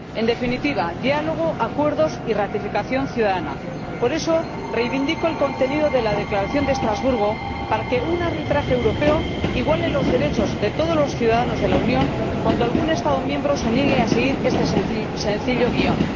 En definitiva diálogo, acuerdos y ratificación ciudadana. Por eso, reivindico el contenido de la Declaración de Estrasburgo para que un arbitraje europeo iguale los derechos de todos los ciudadanos de la Unión cuando algún Estado miembro se niegue a seguir este sencillo guión.